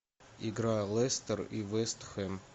игра лестер и вест хэм